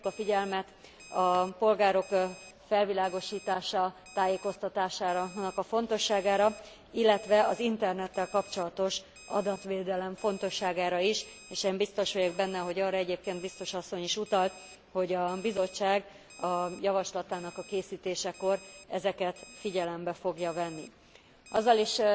Felhívtuk a figyelmet a polgárok felvilágosítása, tájékoztatásának a fontosságára, illetve az internettel kapcsolatos adatvédelem fontosságára is, és én biztos vagyok benne, hogy ahogy arra egyébként biztos asszony is utalt, hogy a Bizottság a javaslatának a készítésekor ezeket figyelembe fogja venni. Azzal is